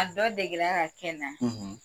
A dɔ degela ka kɛ n na: